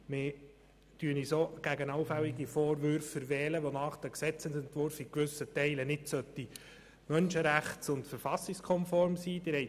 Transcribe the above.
Wir verwehren uns auch gegen allfällige Vorwürfe, wonach der Gesetzesentwurf in gewissen Teilen nicht menschenrechts- und verfassungskonform sein sollte.